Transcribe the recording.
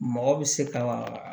Mɔgɔ bɛ se ka